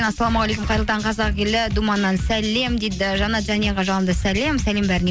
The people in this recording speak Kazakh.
ассалаумағалейкум қайырлы таң қазақ елі думаннан сәлем дейді жанат жәнияға жалынды сәлем сәлем бәріне